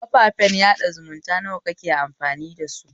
Kafafen sada zumunta nawa kake amfani dasu?